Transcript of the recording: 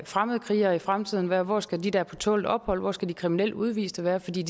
fremmedkrigere i fremtiden være hvor skal de der er på tålt ophold være hvor skal de kriminelle udviste være for de